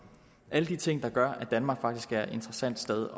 alle de ting gør at danmark faktisk også er et interessant sted